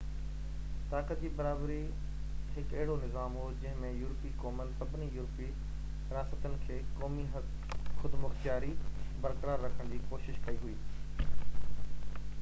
طاقت جي برابري هڪ اهڙو نظام هو جنهن ۾ يورپي قومن سڀني يورپي رياستن کي قومي خودمختياري برقرار رکڻ جي ڪوشش ڪئي هئي